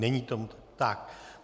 Není tomu tak.